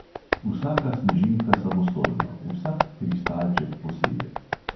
Vsaka snežinka samostojno, vsak kristalček posebej.